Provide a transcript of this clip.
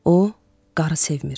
O, qarı sevmir.